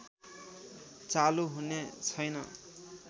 चालु हुने छैन